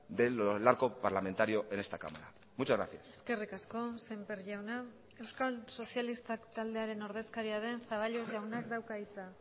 del arco parlamentario en esta cámara muchas gracias eskerrik asko semper jauna euskal sozialistak taldearen ordezkaria den zaballos jaunak dauka hitza